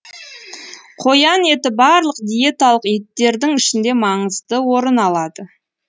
қоян еті барлық диеталық еттердің ішінде маңызды орын алады